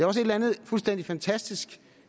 også et eller andet fuldstændig fantastisk